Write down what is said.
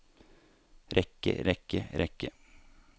rekke rekke rekke